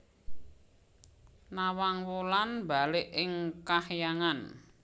Nawang Wulan mbalik ing kahyangan